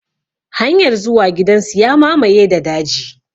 Hanyar zuwa gidan su ya mamaye da daji.